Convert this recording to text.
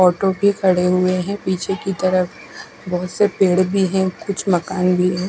Auto भी खड़े हुए है पीछे की तरफ बोहोत से पेड़ भी है कुछ मकान भी है।